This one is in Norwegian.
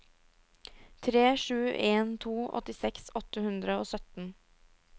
tre sju en to åttiseks åtte hundre og sytten